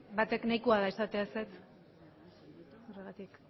batek nahikoa da esatea ezetz horregatik